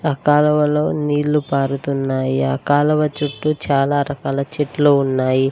ఆ కాలవలో నీళ్లు పారుతున్నాయి ఆ కాలవ చుట్టూ చాలా రకాల చెట్లు ఉన్నాయి.